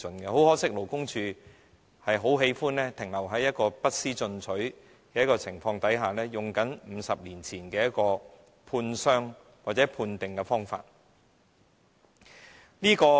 很可惜，勞工處卻喜歡停留在不思進取的情況，沿用50年前的判傷或判定方法。